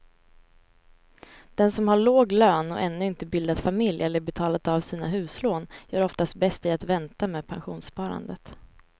Den som har låg lön och ännu inte bildat familj eller betalat av sina huslån gör oftast bäst i att vänta med pensionssparandet.